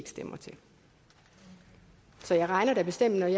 stemmer til så jeg regner da bestemt med